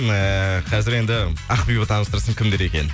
эээ қазір енді ақбибі таныстырсын кімдер екенін